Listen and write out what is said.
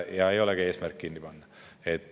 Ei olegi eesmärk kirikut kinni panna.